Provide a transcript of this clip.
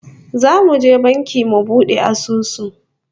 Zamu je banki mu bude asusu